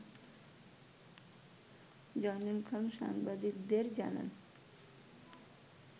জয়নুল খান সাংবাদিকদের জানান